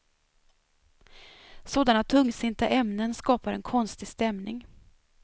Sådana tungsinta ämnen skapar en konstig stämning.